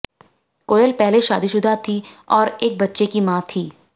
कोयल पहले शादीशुदा थीं और एक बच्ची की मां थीं